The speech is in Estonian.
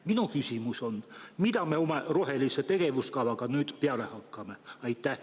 Minu küsimus on: mida me oma rohelise tegevuskavaga nüüd peale hakkame?